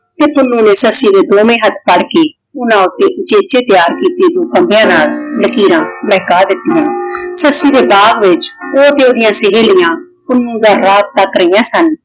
ਤੇ ਪੁੰਨੁ ਨੇ ਸੱਸੀ ਦੇ ਦੋਵੇਂ ਹੱਥ ਫੜ ਕੇ ਉਹਨਾਂ ਤੇ ਉਚੇਚੇ ਤਿਆਰ ਕੀਤੇ ਫੰਬਿਆਂ ਨਾਲ ਲਕੀਰਾਂ ਮਹਿਕਾ ਦਿੱਤੀਆਂ। ਸੱਸੀ ਦੇ ਬਾਗ ਵਿਚ ਉਹ ਤੇ ਉਹਦੀਆਂ ਸਹੇਲੀਆਂ ਪੁੰਨੂੰ ਦਾ ਰਾਹ ਤੱਕ ਰਹੀਆਂ ਸਨ।